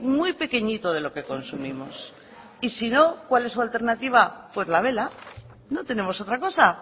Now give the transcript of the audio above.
muy pequeñito de lo que consumimos y si no cuál es su alternativa pues la vela no tenemos otra cosa